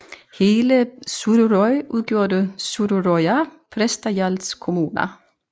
Hele Suðuroy udgjorde Suðuroyar prestagjalds kommuna